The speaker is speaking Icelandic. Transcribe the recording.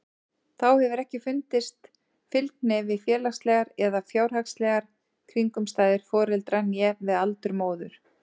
Þá hefur ekki fundist fylgni við félagslegar eða fjárhagslegar kringumstæður foreldra né við aldur móður.